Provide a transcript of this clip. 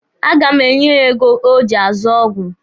A ga m enye ya ego o ji azụ ọgwụ.